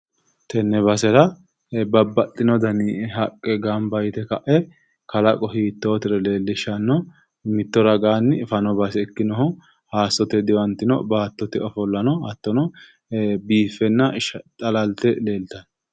Tenne basera babbaxino danni haqe gamba yite ka'e kallaqo hiittotero leelishano mitto ragaanni fano base ikkinoho hayisote diwantino baattote ofolla no hattono biifenna xallalte leeltano.